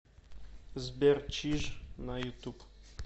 сбер чиж на ютуб